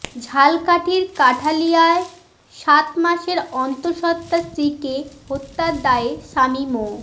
ঝালকাঠির কাঠালিয়ায় সাত মাসের অন্তঃসত্বা স্ত্রীকে হত্যার দায়ে স্বামী মো